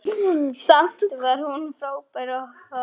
Samt var hún frábær kokkur.